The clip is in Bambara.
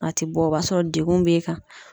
A te bɔ, o b'a sɔrɔ dekun b'e kan.